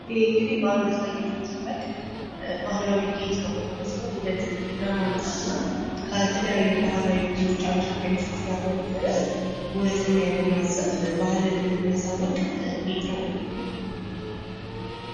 ይሄ እንግዲህ በአንገት ላይ የሚደረግ ባህላዊ ጌጥ ማለት ነው። ውበት ለማምጣት ነው። ከተለያዩ ባህላዊ ልብሶች ሀበሻ ቀሚሶች ጋር በመለበስ ውበትን የሚያጎናጽፍ ባህልንም የሚያሳውቅ ጌጥ ነው።